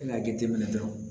I n'a jateminɛ dɔrɔn